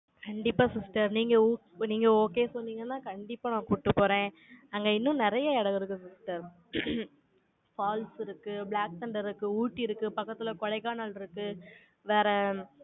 கண்டிப்பா sister, நீங்க இப்ப நீங்க okay சொன்னீங்கன்னா, கண்டிப்பா நான் கூட்டிட்டு போறேன். அங்க இன்னும் நிறைய இடம் இருக்குது sister falls இருக்கு, black thunder இருக்கு, ஊட்டி இருக்கு, பக்கத்துல கொடைக்கானல் இருக்கு, வேற, உம்